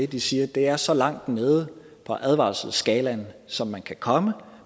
de siger at det er så langt nede på advarselsskalaen som man kan komme